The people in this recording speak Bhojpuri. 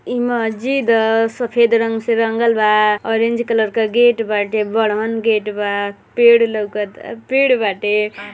इ मस्जिद अ। सफेद रंग से रंगल बा। ऑरेंज कलर क गेट बाटे। बड़हन गेट बा। पेड़ लउकत आ पेड़ बाटे।